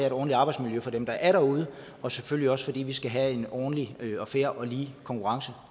et ordentligt arbejdsmiljø for dem der er derude og selvfølgelig også fordi vi skal have en ordentlig og fair og lige konkurrence